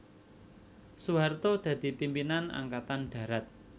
Soeharto dadi pimpinan Angkatan Darat